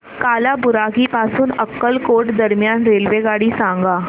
कालाबुरागी पासून अक्कलकोट दरम्यान रेल्वेगाडी सांगा